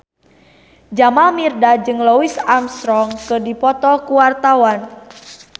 Jamal Mirdad jeung Louis Armstrong keur dipoto ku wartawan